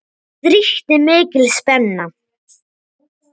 Það ríkti mikil spenna.